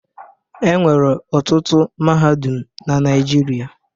E nwere ọtụtụ mahadum na Naịjirịa.